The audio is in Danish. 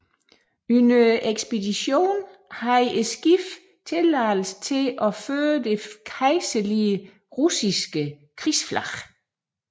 Under ekspeditionen havde skibet tilladelse til at føre det kejserlige russiske krigsflag